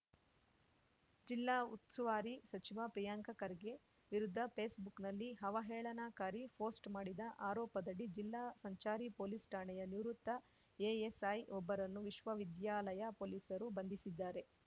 ಜಿಲ್ಲಾ ಉಸ್ತುವಾರಿ ಸಚಿವ ಪ್ರಿಯಾಂಕ ಖರ್ಗೆ ವಿರುದ್ಧ ಪೇಸ್‌ಬುಕ್‌ನಲ್ಲಿ ಅವಹೇಳನಕಾರಿ ಪೋಸ್ಟ್ ಮಾಡಿದ ಆರೋಪದಡಿ ಜಿಲ್ಲಾ ಸಂಚಾರಿ ಪೊಲೀಸ್‌ ಠಾಣೆಯ ನಿವೃತ್ತ ಎಎಸ್‌ಐ ಒಬ್ಬರನ್ನು ವಿಶ್ವವಿದ್ಯಾಲಯ ಪೊಲೀಸರು ಬಂಧಿಸಿದ್ದಾರೆ